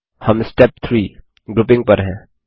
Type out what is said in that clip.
हम step 3 grouping पर हैं